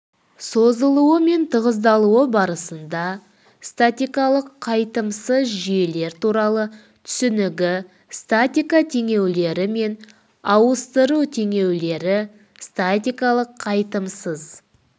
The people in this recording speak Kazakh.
созылуы мен тығыздалуы барысында статикалық қайтымсыз жүйелер туралы түсінігі статика теңеулері мен ауыстыру теңеулері статикалық қайтымсыз